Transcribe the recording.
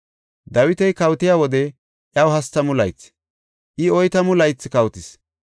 Dawiti kawotiya wode iyaw hastamu laythi; I oytamu laythi kawotis.